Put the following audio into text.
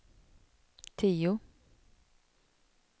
tio